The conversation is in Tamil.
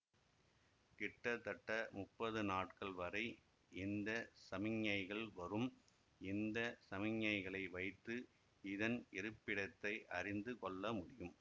கிட்டத்தட்ட முப்பது நாட்கள் வரை இந்த சமிஞைகள் வரும் இந்த சமிஞைகளை வைத்து இதன் இருப்பிடத்தை அறிந்து கொள்ளமுடியம்